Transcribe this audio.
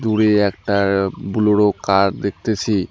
দূরে একটা Bolero car দেখতাছি।